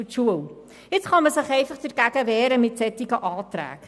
Mit solchen Anträgen kann man sich gegen diese Entwicklung wehren.